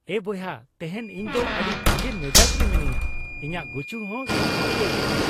ᱮᱭ ᱵᱚᱭᱦᱟ ᱾ ᱛᱮᱦᱮᱧ ᱤᱧ ᱫᱚ ᱟᱹᱰᱤ ᱵᱷᱟᱜᱮ ᱢᱮᱡᱟᱡ ᱨᱮ ᱢᱤᱱᱟᱹᱧᱟ ᱾ ᱤᱧᱟᱜ ᱜᱩᱪᱩ ᱦᱚᱸ ᱥᱟᱯᱷᱟ ᱩᱛᱟᱹᱨ ᱠᱟᱢ ᱾